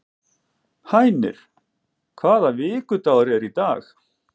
Hænir, hvaða vikudagur er í dag?